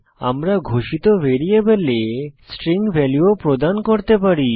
আমরা ঘোষিত ভ্যারিয়েবলে স্ট্রিং ভ্যালু ও প্রদান করতে পারি